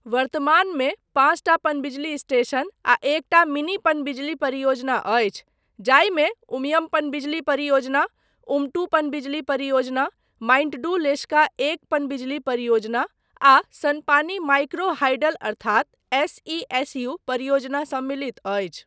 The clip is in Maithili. वर्तमानमे, पाँचटा पनबिजली स्टेशन आ एकटा मिनी पनबिजली परियोजना अछि, जाहिमे उमियम पनबिजली परियोजना, उमटू पनबिजली परियोजना, माइंट्डू लेशका एक पनबिजली परियोजना आ सनपानी माइक्रो हाइडल अर्थात एस.ई.एस.यू. परियोजना सम्मिलित अछि।